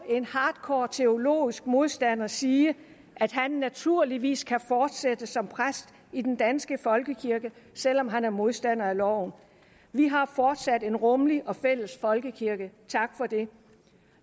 en hardcore teologisk modstander sige at han naturligvis kan fortsætte som præst i den danske folkekirke selv om han er modstander af loven vi har fortsat en rummelig og fælles folkekirke tak for det